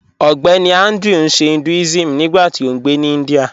Ọgbẹ́nì Andrew n ṣè Hinduism nígbàtí ó ngbé ní India